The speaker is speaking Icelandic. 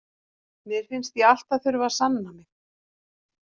Mér finnst ég alltaf þurfa að sanna mig.